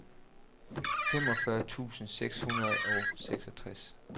femogfyrre tusind seks hundrede og seksogtres